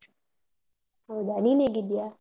ಹೌದಾ. ನೀನ್ ಹೇಗಿದ್ಯಾ?